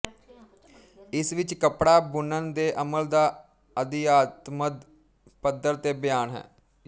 ਇਸ ਵਿੱਚ ਕੱਪੜਾ ਬੁਣਨ ਦੇ ਅਮਲ ਦਾ ਅਧਿਆਤਮਦ ਪਧੱਰ ਤੇ ਬਿਆਨ ਹੈ